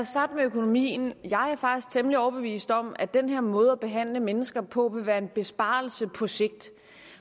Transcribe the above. starte med økonomien jeg er faktisk temmelig overbevist om at den her måde at behandle mennesker på vil være en besparelse på sigt